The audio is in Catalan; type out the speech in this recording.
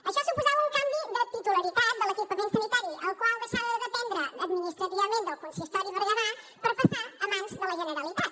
això suposava un canvi de titularitat de l’equipament sanitari el qual deixava de dependre administrativament del consistori berguedà per passar a mans de la generalitat